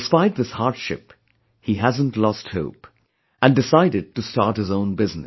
Despite this hardship, he hasn't lost hope, and decided to start his own business